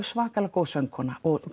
svakalega góð söngkona og